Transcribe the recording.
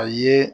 A ye